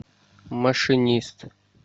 машинист